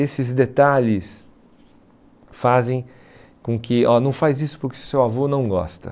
Esses detalhes fazem com que... ó, não faz isso porque o seu avô não gosta.